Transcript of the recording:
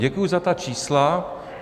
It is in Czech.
Děkuji za ta čísla.